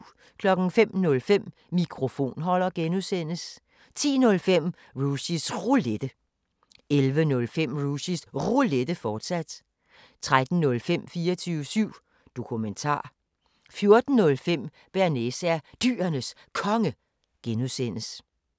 05:05: Mikrofonholder (G) 10:05: Rushys Roulette 11:05: Rushys Roulette, fortsat 13:05: 24syv Dokumentar 14:05: Bearnaise er Dyrenes Konge (G)